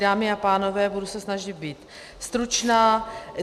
Dámy a pánové, budu se snažit být stručná.